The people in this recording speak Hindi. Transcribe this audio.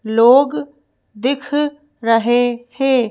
लोग दिख रहे हैं।